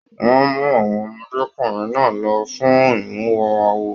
Wọn mú àwọn ọmọdékunrin náà lọ fún imuwọ̀ awo.